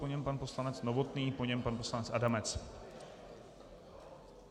Po něm pan poslanec Novotný, po něm pan poslanec Adamec.